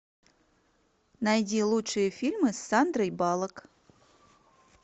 найди лучшие фильмы с сандрой баллок